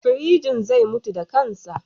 Firjin zai mutu da kansa.